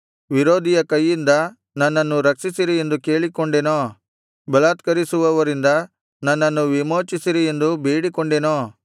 ವಿರೋಧಿಯ ಕೈಯಿಂದ ನನ್ನನ್ನು ರಕ್ಷಿಸಿರಿ ಎಂದು ಕೇಳಿಕೊಂಡೆನೋ ಬಲಾತ್ಕರಿಸುವವರಿಂದ ನನ್ನನ್ನು ವಿಮೋಚಿಸಿರಿ ಎಂದು ಬೇಡಿಕೊಂಡೆನೋ